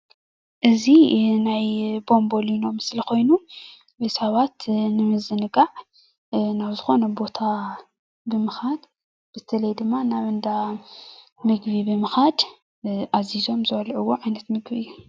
እዚ ናይ ቦቦሊኖ ምስሊ ኮይኑ ንሰባት ንምዝንጋዕ ናብ ዝኮነ ቦታ ብምካድ በተለይ ድማ ናብ እንዳ ምግቢ ብምካድ አዚዞም ዝበልዕዋ ዓይነት ምግቢ እዩ፡፡